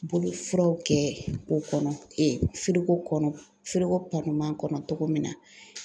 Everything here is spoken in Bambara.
Bolofiraw kɛ o kɔnɔ kɔnɔ kɔnɔ cogo min na